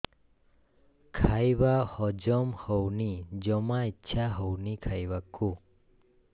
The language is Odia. ଖାଇବା ହଜମ ହଉନି ଜମା ଇଛା ହଉନି ଖାଇବାକୁ